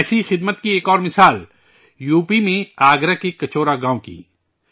ایسی ہی خدمت کی ایک اور مثال یو پی میں آگرہ کے کچورا گاوں کی ہے